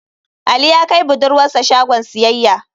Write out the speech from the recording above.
Ali ya kai budurwar sa shagon siyayya.